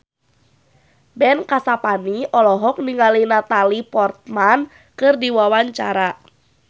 Ben Kasyafani olohok ningali Natalie Portman keur diwawancara